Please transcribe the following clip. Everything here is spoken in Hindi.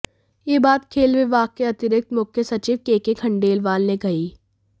यह बात खेल विभाग के अतिरिक्त मुख्य सचिव केके खंडेलवाल ने कही